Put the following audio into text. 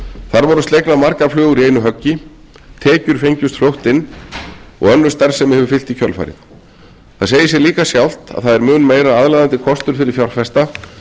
þar voru slegnar margar flugur í einu höggi tekjur feng best fljótt inn og önnur starfsemi fylgdi fljótt í kjölfarið það segir sig líka sjálft að það er mun meira aðlaðandi kostur fyrir fjárfesta